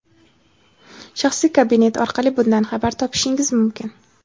"Shaxsiy kabinet" orqali bundan xabar topishingiz mumkin.